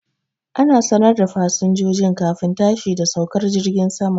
Ana sanar da fasinjojin kafin tashi da saukar jirgin saman